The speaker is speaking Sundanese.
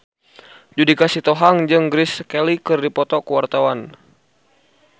Judika Sitohang jeung Grace Kelly keur dipoto ku wartawan